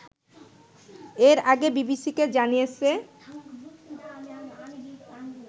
এর আগে বিবিসিকে জানিয়েছে